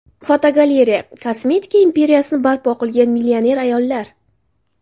Fotogalereya: Kosmetika imperiyasini barpo qilgan millioner ayollar.